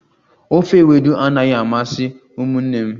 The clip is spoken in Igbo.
Ofe ewedu anaghi amasị umunne m